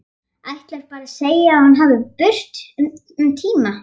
Ætlar bara að segja að hún fari burt um tíma.